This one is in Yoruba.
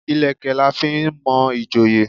Ìlẹ̀kẹ̀ la fi n mo ìjòyè